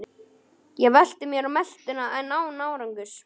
Ég velti mér á meltuna en án árangurs.